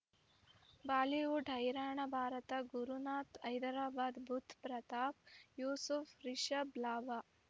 Bollywood ಹೈರಾಣ ಭಾರತ ಗುರುನಾಥ ಹೈದರಾಬಾದ್ ಬುಧ್ ಪ್ರತಾಪ್ ಯೂಸುಫ್ ರಿಷಬ್ ಲಾಭ